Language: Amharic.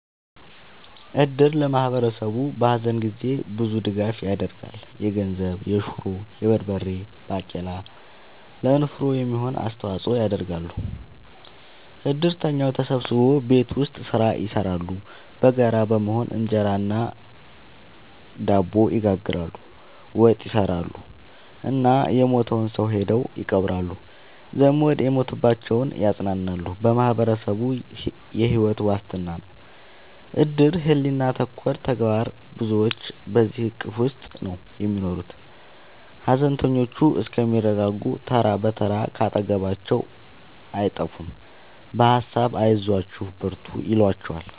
እድር ለማህበረሰቡ በሀዘን ጊዜ ብዙ ድጋፍ ይደረጋል። የገንዘብ፣ የሹሮ፣ የበርበሬ ባቄላ ለንፍሮ የሚሆን አስተዋጽኦ ያደርጋሉ። እድርተኛው ተሰብስቦ ቤት ውስጥ ስራ ይሰራሉ በጋራ በመሆን እንጀራ እና ድብ ይጋግራሉ፣ ወጥ ይሰራሉ እና የሞተውን ሰው ሄደው ይቀብራሉ። ዘመድ የሞተባቸውን ያፅናናሉ በማህበረሰቡ የሕይወት ዋስትና ነው እድር ሕሊና ተኮር ተግባር ብዙዎች በዚሕ እቅፍ ውስጥ ነው የሚኖሩት ሀዘነተኞቹ እስከሚረጋጉ ተራ ብትር ካጠገባቸው አይጠፍም በሀሳብ አይዟችሁ በርቱ ይሏቸዋል።